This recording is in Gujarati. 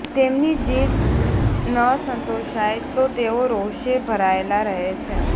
તેમની જીદ્દ ન સંતોષાય તો તેઓ રોષે ભરાયેલા રહે છે